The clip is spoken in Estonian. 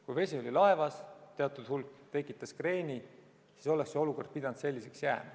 Kui vesi oli laevas, teatud hulk vett tekitas kreeni, siis oleks see olukord pidanud selliseks jääma.